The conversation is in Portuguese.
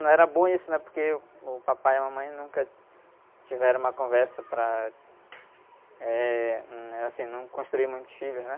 Não era bom isso, porque uh, o papai e a mamãe nunca tiveram uma conversa para, eh, hum, eh, assim, não construir muitos filhos, né?